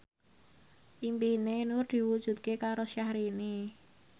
impine Nur diwujudke karo Syahrini